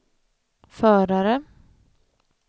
förare